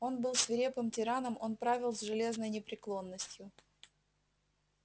он был свирепым тираном он правил с железной непреклонностью